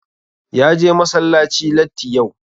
Ya je masallaci latti yau.